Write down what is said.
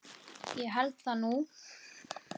Ég held það nú!